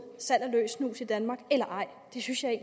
salg af løs snus i danmark eller ej det synes jeg